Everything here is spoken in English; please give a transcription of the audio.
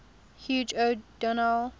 hugh o donel